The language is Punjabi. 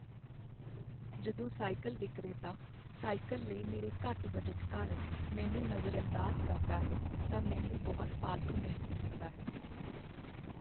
ਜਦੋਂ ਸਾਈਕਲ ਵਿਕਰੇਤਾ ਸਾਈਕਲ ਲਈ ਮੇਰੇ ਘੱਟ ਬਜਟ ਕਾਰਨ ਮੈਨੂੰ ਨਜ਼ਰਅੰਦਾਜ਼ ਕਰਦਾ ਹੈ ਤਾਂ ਮੈਨੂੰ ਬਹੁਤ ਫਾਲਤੂ ਮਹਿਸੂਸ ਹੁੰਦਾ ਹੈ।